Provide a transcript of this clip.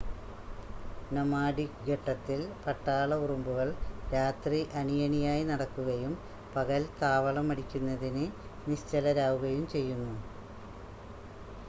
nomadic ഘട്ടത്തിൽ പട്ടാള ഉറുമ്പുകൾ രാത്രി അണിയണിയായി നടക്കുകയും പകൽ താവളം അടിക്കുന്നതിന് നിശ്ചലരാവുകയും ചെയ്യുന്നു